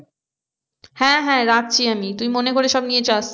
হ্যাঁ হ্যাঁ রাখছি আমি তুই মনে করে সব নিয়ে যাস।